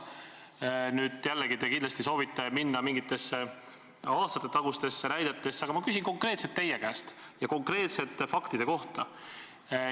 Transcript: Nüüd te jällegi kindlasti soovite laskuda mingitesse aastatetagustesse näidetesse, aga ma küsin konkreetselt teie käest ja konkreetsete faktide kohta.